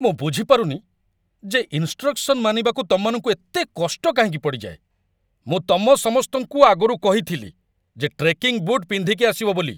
ମୁଁ ବୁଝିପାରୁନି ଯେ ଇନ୍‌ଷ୍ଟ୍ରକ୍‌ସନ୍‌ ମାନିବାକୁ ତମମାନଙ୍କୁ ଏତେ କଷ୍ଟ କାହିଁକି ପଡ଼ିଯାଏ । ମୁଁ ତମ ସମସ୍ତଙ୍କୁ ଆଗରୁ କହିଥିଲି ଯେ ଟ୍ରେକିଂ ବୁଟ୍ ପିନ୍ଧିକି ଆସିବ ବୋଲି ।